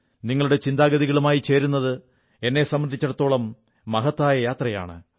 നിങ്ങളുടെ ചിന്താഗതികളുമായി ചേരുന്നത് എന്നെ സംബന്ധിച്ചിടത്തോളം മഹത്തായ യാത്രയാണ്